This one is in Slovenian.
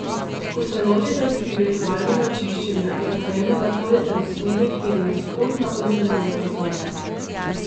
Ko se lotite spiritualnega čiščenja, je pomembno, da hodite v smeri, ki je nasprotna urnemu kazalcu.